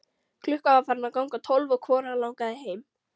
Klukkan var farin að ganga tólf og hvorugan langaði heim.